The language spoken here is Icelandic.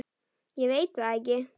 Ég veit það ekki!